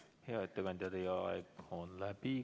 Hea ettekandja, teie aeg on läbi.